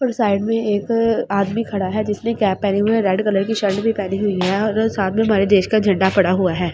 और साइड में एक आदमी खड़ा है जिसने कैप पहनी हुई है रेड कलर की शर्ट भी पहनी हुई है और साथ में हमारे देश का झंडा पड़ा हुआ है।